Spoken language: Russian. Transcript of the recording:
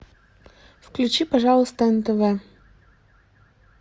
включи пожалуйста нтв